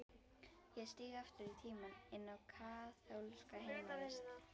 Ég stíg aftur í tímann, inn á kaþólska heimavist.